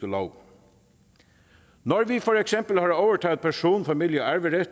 når vi for eksempel har overtaget person familie og